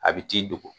A bi t'i dogo